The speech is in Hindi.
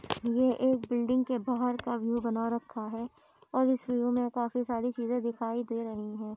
ये एक बिल्डिंग के बाहर का व्यू बना रखा है और इस व्यू मे काफी सारी चीजें दिखाई दे रही है।